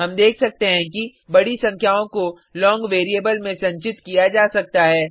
हम देख सकते हैं कि बड़ी संख्याओं को लोंग वेरिएबल में संचित किया जा सकता है